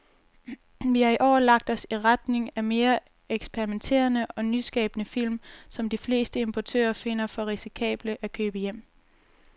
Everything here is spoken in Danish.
Vi har i år lagt os i retning af mere eksperimenterede og nyskabende film, som de fleste importører finder for risikable at købe hjem.